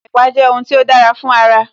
Ẹ̀pà jẹ́ ohun tí ó dára fún ara